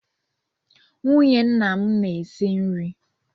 Nwunye nna m na-esi nri.